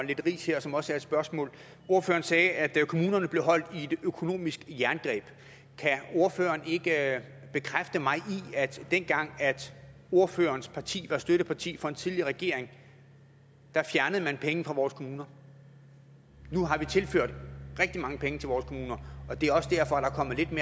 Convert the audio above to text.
lidt ris her som også er et spørgsmål ordføreren sagde at kommunerne blev holdt i et økonomisk jerngreb kan ordføreren ikke bekræfte mig i at dengang ordførerens parti var støtteparti for en tidligere regering fjernede man penge fra vores kommuner nu har vi tilført rigtig mange penge til vores kommuner og det er også derfor